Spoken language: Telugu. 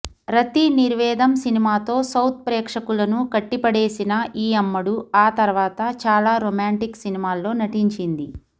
రతి నిర్వేదం సినిమాతో సౌత్ ప్రేక్షకులను కట్టిపడేసిన ఈ అమ్మడు ఆ తర్వాత చాలా రొమాంటిక్ సినిమాల్లో నటించింది